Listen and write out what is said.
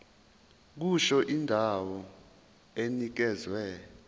kusho indawo enikezwe